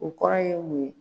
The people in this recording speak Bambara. O kɔrɔ ye mun ye?